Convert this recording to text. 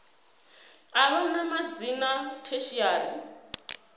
u vha na madzina tertiary